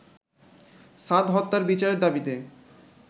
সাদ হত্যার বিচারের দাবিতে